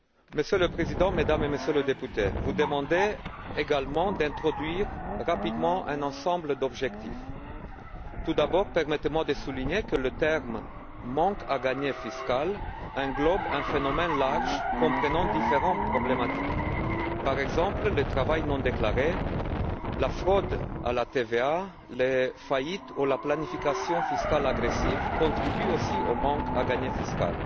Monsieur le Président, mesdames et messieurs les députés, vous demandez également d'introduire rapidement un ensemble d'objectifs. Tout d'abord, permettez moi de souligner que le terme manque à gagner fiscal recouvre un phénomène large comprenant différentes problématiques. Par exemple, le travail non déclaré, la fraude à la TVA, les faillites ou la planification fiscale agressive contribuent aussi au manque à gagner fiscal.